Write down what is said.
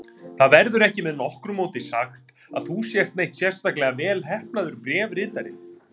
Það verður ekki með nokkru móti sagt að þú sért neitt sérstaklega velheppnaður bréfritari.